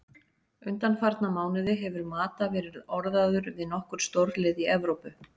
Undanfarna mánuði hefur Mata verið orðaður við nokkur stórlið í Evrópu.